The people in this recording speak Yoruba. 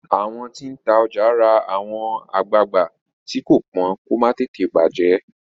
àwọn tí n tá ọjà rà àwọn agbagba tii ko pọn kò má tètè bajẹ